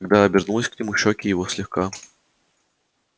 когда обернулась к нему щёки его слегка